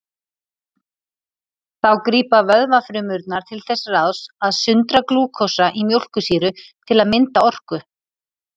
Þá grípa vöðvafrumurnar til þess ráðs að sundra glúkósa í mjólkursýru til að mynda orku.